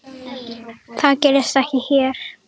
Það gerist ekki hér.